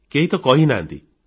କେହି ତ କହି ନାହାନ୍ତି